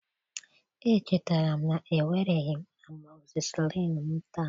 Echetere m na ewereghị m amoxicillin m taa